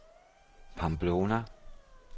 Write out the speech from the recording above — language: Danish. Pamplona